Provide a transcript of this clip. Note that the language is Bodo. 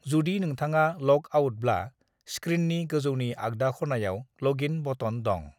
"जुदि नोंथाङा ल'ग आउटब्ला, स्क्रीननि गोजौनि आगदा खनायाव ल'गइन बटन दं।"